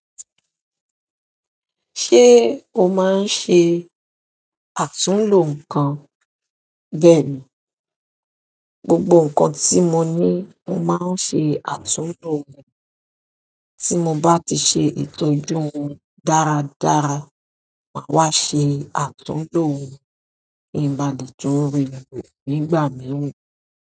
Ṣé o máa ń ṣe àtúnlò nǹkan? Bẹ́ẹ̀ni, gbogbo nǹkan tí mo ní mo máa ń ṣe àtúnlò rẹ̀. Tí mo bá ti ṣe ìtọ́jú wọn dáradára, màá wá ṣe àtúnlò wọn ki n bà le tun rilo nígbà mìíràn.